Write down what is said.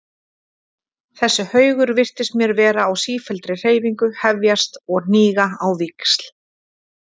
Þessi haugur virtist mér vera á sífelldri hreyfingu, hefjast og hníga á víxl.